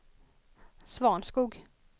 Svanskog